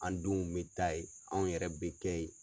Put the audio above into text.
An denw bɛ taa ye anw yɛrɛ bɛ kɛ ye.